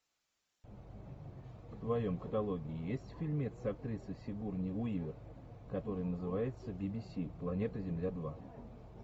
в твоем каталоге есть фильмец с актрисой сигурни уивер который называется би би си планета земля два